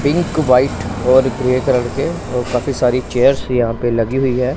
Pink white और grey colour के और काफी सारी चेयर्स भी यहां पे लगी हुई है।